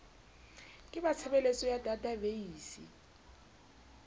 ke ba tshebeletso ya databeise